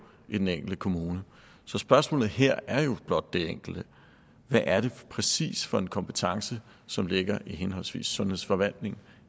i den enkelte kommune så spørgsmålet her er jo blot det enkle hvad er det præcis for en kompetence som ligger i henholdsvis sundhedsforvaltningen